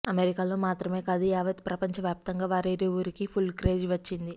అమెరికాలో మాత్రమే కాదు యావత్ ప్రపంచ వ్యాప్తంగా వారిరువురికి ఫుల్ క్రేజ్ వచ్చింది